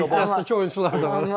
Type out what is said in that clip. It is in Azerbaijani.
Ehtiyatdakı oyunçular da var.